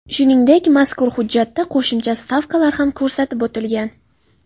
Shuningdek, mazkur hujjatda qo‘shimcha stavkalar ham ko‘rsatib o‘tilgan.